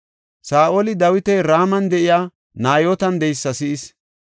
Saa7oli Dawiti Raman de7iya Nayootan de7eysa si7is.